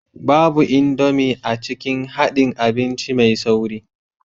Babu Indomie a cikin haɗin abinci mai sauri